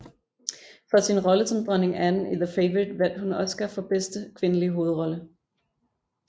For sin rolle som dronning Anne i The Favourite vandt hun Oscar for bedste kvindelige hovedrolle